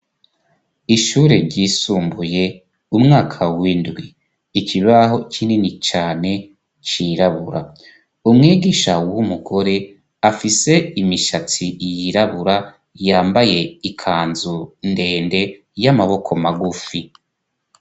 Ishure ryisumbuye umwaka w'indwi, ikibaho kinini cane cirabura, umwigisha w'umugore afise imishatsi yirabura yambaye ikanzu ndende y'amaboko magufi.